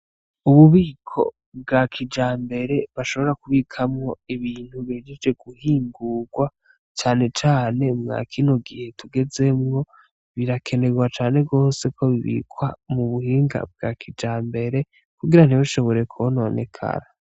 Ububiko bwa kijambere bashobora kubikamwo ibintu bihejeje guhingurwa cane cane mwa kino gihe tugezemwo birakenerwa cane gose ko bibikwa mu buhinga bwa kijambere kugira ntibishobore kononekara.